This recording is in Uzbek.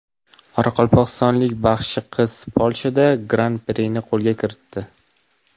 Qoraqalpog‘istonlik baxshi qiz Polshada gran-prini qo‘lga kiritdi.